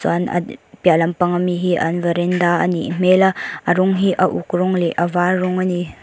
an piah lam pang ami hi an varanda a nih hmel a a rawng hi a uk rawng leh a vâr rawng a ni.